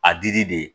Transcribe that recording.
A dili de ye